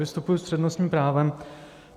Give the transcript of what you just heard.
Vystupuji s přednostním právem.